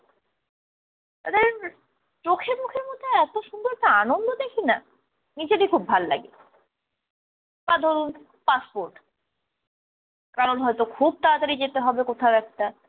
চোখে মুখের মধ্যে এতো সুন্দর একটা আনন্দ দেখি নাহ নিজেরই খুব ভাল লাগে। বা ধরুন passport , কারোর হয়তো খুব তাড়াতাড়ি যেতে হবে কোথাও একটা